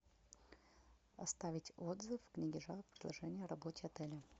оставить отзыв в книге жалоб и предложений о работе отеля